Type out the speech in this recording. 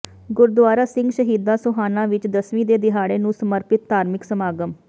ਗੁਰਦੁਆਰਾ ਸਿੰਘ ਸ਼ਹੀਦਾਂ ਸੋਹਾਣਾ ਵਿੱਚ ਦਸਵੀਂ ਦੇ ਦਿਹਾੜੇ ਨੂੰ ਸਮਰਪਿਤ ਧਾਰਮਿਕ ਸਮਾਗਮ